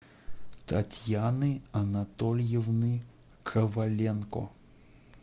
татьяны анатольевны коваленко